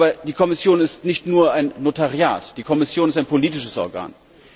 Aber die Kommission ist nicht nur ein Notariat, die Kommission ist ein politisches Organ.